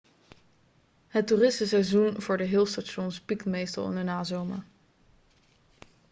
het toeristenseizoen voor de hill stations piekt meestal in de nazomer